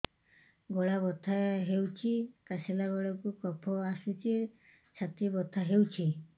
ଗଳା ବଥା ହେଊଛି କାଶିଲା ବେଳକୁ କଫ ଆସୁଛି ଛାତି ବଥା ହେଉଛି